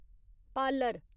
parlour